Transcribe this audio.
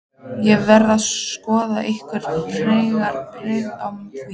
Er verið að skoða einhverjar frekari breytingar á því?